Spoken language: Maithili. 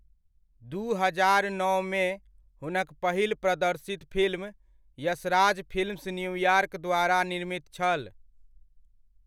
दू हजार नओमे, हुनक पहिल प्रदर्शित फिल्म यशराज फिल्म्स न्यूयॉर्क द्वारा निर्मित छल।